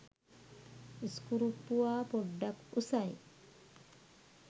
ඉස්කුරුප්පුවා පොඩ්ඩක් උසයි